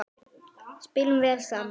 Spilum vel saman.